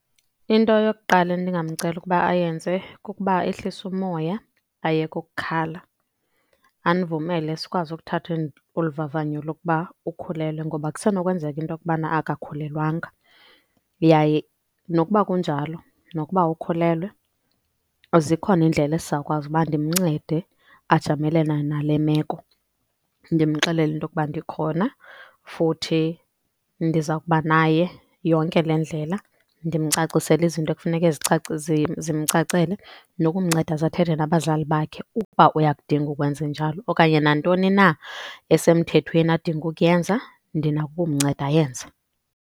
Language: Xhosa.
Into yokuqala endingamcela ukuba ayenze kukuba ehlise umoya ayeke ukukhala. Andivumele sikwazi ukuthatha olu vavanyo lokuba ukhulelwe ngoba kusenokwenzeka intokubana akakhulelwanga. Yaye nokuba kunjalo nokuba ukhulelwe zikhona iindlela esizawukwazi ukuba ndimncede ajamelane nale meko, ndimxelele into yokuba ndikhona futhi ndizawukuba naye yonke le ndlela. Ndimcacisele izinto ekufuneke zimcacele nokumnceda ze athethe nabazali bakhe ukuba uyakudinga ukwenzenjalo. Okanye nantoni na esemthethweni adinga ukuyenza ndinako ukumnceda ayenze.